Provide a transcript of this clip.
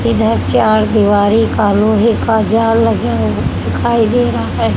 इधर चार दिवारी का लोहे का जाल लगा हु दिखाई दे रहा है।